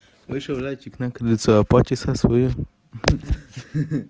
вышел зайчик на крыльцо почесать своё хи-хи